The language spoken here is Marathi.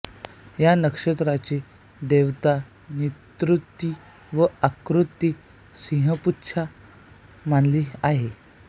या नक्षत्राची देवता निर्ऋती व आकृती सिंहपुच्छ मानली आहे